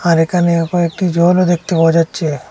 আর এখানেও কয়েকটি জলও দেখতে পাওয়া যাচ্ছে।